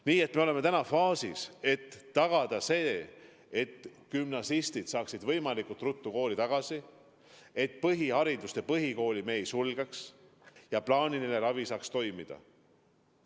Nii et me oleme täna faasis, kus püüame tagada selle, et gümnasistid saaksid võimalikult ruttu kooli tagasi ja et põhikooli me ei sulgeks ja plaaniline ravi saaks toimida.